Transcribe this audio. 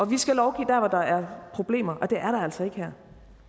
vi skal lovgive der hvor der er problemer og det er altså ikke her